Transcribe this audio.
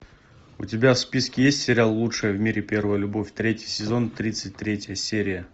у тебя в списке есть сериал лучшая в мире первая любовь третий сезон тридцать третья серия